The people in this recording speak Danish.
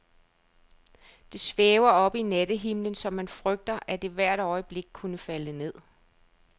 Det svæver oppe i nattehimlen, så man frygter, at det hvert øjeblik kunne falde ned.